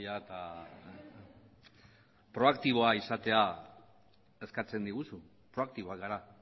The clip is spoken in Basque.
eta proaktiboa izatea eskatzen diguzu proaktiboak gara